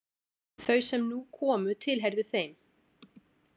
Þau sem nú komu tilheyrðu þeim.